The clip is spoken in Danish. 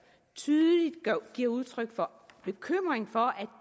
tydeligt giver udtryk for bekymring for at